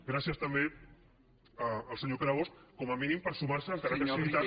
gràcies també al senyor pere bosch com a mínim per sumar se encara que sigui tard